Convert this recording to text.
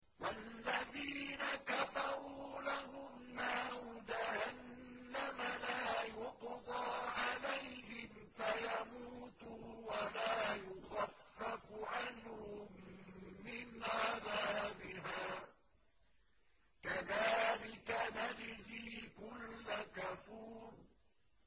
وَالَّذِينَ كَفَرُوا لَهُمْ نَارُ جَهَنَّمَ لَا يُقْضَىٰ عَلَيْهِمْ فَيَمُوتُوا وَلَا يُخَفَّفُ عَنْهُم مِّنْ عَذَابِهَا ۚ كَذَٰلِكَ نَجْزِي كُلَّ كَفُورٍ